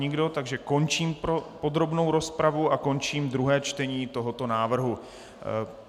Nikdo, takže končím podrobnou rozpravu a končím druhé čtení tohoto návrhu.